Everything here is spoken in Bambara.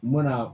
U mana